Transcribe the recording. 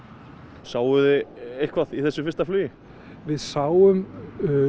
sjáið þið eitthvað í þessu fyrsta flugi við sáum